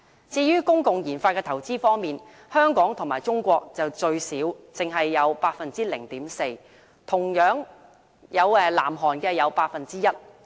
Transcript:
至於公共研發的投資方面，香港與中國屬最少，只得 0.4%， 最多同樣是南韓，佔 1%。